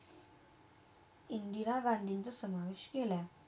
इंदिरा गांधीचा समविष केला